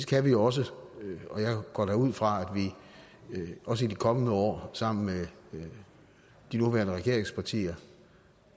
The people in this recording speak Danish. kan vi også og jeg går da ud fra at vi også i de kommende år sammen med de nuværende regeringspartier